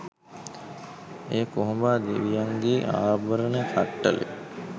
එය කොහොඹා දෙවියන්ගේ ආභරණ කට්ටලය